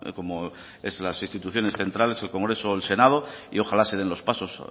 como son las instituciones centrales el congreso o el senado y ojalá se den los pasos